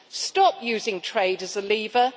stop using trade as a lever